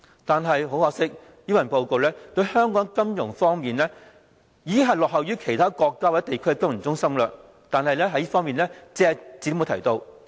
但是，很可惜，這份施政報告對香港在金融方面落後於其他國家或地區的情況，卻隻字不提。